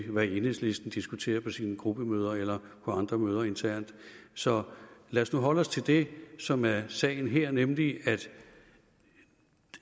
hvad enhedslisten diskuterer på sine gruppemøder eller på andre møder internt så lad os nu holde os til det som er sagen her nemlig